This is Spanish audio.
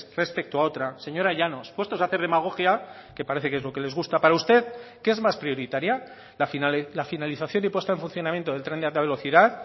respecto a otra señora llanos puestos a hacer demagogia que parece que es lo que les gusta para usted qué es más prioritaria la finalización y puesta en funcionamiento del tren de alta velocidad